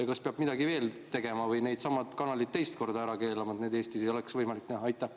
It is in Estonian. Ja kas peab midagi veel tegema või needsamad kanalid teist korda ära keelama, et neid Eestis ei oleks võimalik näha?